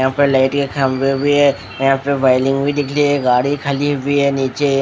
यहाँ पर लाइट का खम्बा भी है यहाँ पर वाइलिंग भी दिखरी है गाड़ी खली हुई है नीचे --